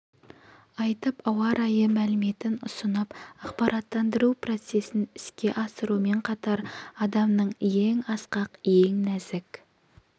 айтып ауа райы мәліметін ұсынып ақпараттандыру процесін іске асырумен қатар адамның ең асқақ ең нәзік